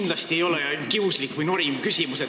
Mul ei ole kindlasti kiuslik või noriv küsimus.